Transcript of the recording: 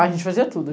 A gente fazia tudo.